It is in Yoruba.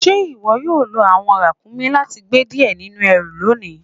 Ṣe iwo yóò lọ awọn rakúmí láti gbẹ́ díẹ̀ nínu èrú lónì?